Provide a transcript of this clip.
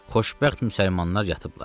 Xoşbəxt müsəlmanlar yatıblar.